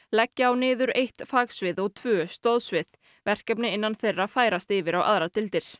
leggja á niður eitt fagsvið og tvö stoðsvið verkefni innan þeirra færast yfir á aðrar deildir